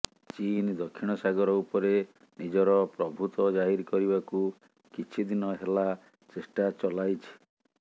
ଚୀନ ଦକ୍ଷିଣ ସାଗର ଉପରେ ନିଜର ପ୍ରଭୃତ ଜାହିର କରିବାକୁ କିଛି ଦିନ ହେଲା ଚେଷ୍ଟା ଚଲାଇଛି